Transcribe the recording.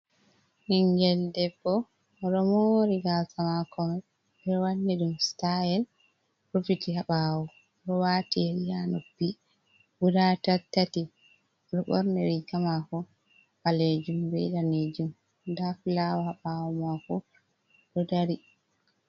Ɓinngel debbo ɗo moori gaasa maako ɓe wanni ɗum staayel rufiti haa ɓaawo ɗo waati yeri haa noppi guda tattati, o ɗo ɓoorni riiga maako ɓaleejum bee daneejum, nda fulaawo haa ɓaawo maako ɗo dari.